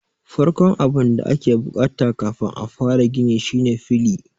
Farkon abun da ake bukata kafin a fara gini shine fili.